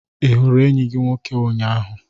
Ị hụrụ enyi gị nwoke ụnyahụ?